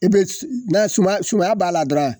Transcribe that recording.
I be s na suma sumaya b'a la dɔrɔn